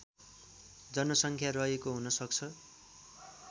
जनसङ्ख्या रहेको हुनसक्छ